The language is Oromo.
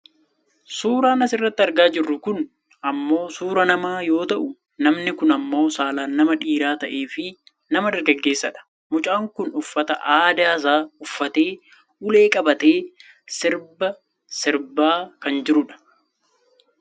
suuraan asirratti argaa jirru kun ammoo suuraa namaa yoo ta'u namni kun ammoo saalaan nama dhiira ta'eefi nama dargaggeessa dha. mucaan kun uffata aadaasaa uffatee ulee qabatee sirba sirbaa kan jirudha.